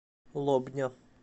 лобня